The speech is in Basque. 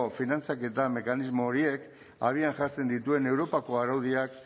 finantzaketa mekanismo horiek abian jartzen dituen europako araudiak